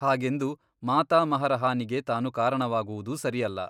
ಹಾಗೆಂದು ಮಾತಾಮಹರ ಹಾನಿಗೆ ತಾನು ಕಾರಣವಾಗುವುದೂ ಸರಿಯಲ್ಲ.